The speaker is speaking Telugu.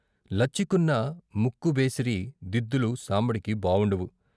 లచ్చికున్న ముక్కు బేసిరీ, దిద్దులు సాంబడికి బావుండవు.